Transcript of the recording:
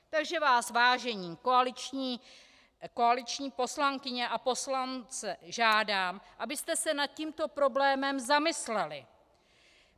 Takže vás, vážené koaliční poslankyně a poslanci, žádám, abyste se nad tímto problémem zamysleli.